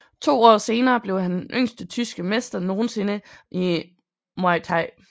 To år senere blev han den yngste tyske mester nogensinde i Muay Thai